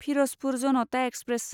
Firozpur Janata express